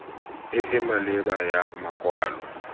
e e maleba ya makwalo